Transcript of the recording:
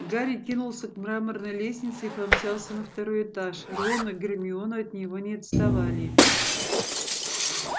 гарри кинулся к мраморной лестнице и помчался на второй этаж рон и гермиона от него не отставали